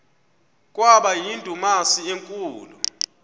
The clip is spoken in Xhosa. kwaba yindumasi enkulu